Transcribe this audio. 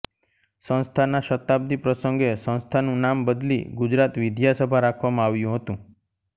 સંસ્થાના શતાબ્દી પ્રસંગે સંસ્થાનું નામ બદલી ગુજરાત વિદ્યા સભા રાખવામાં આવ્યું હતું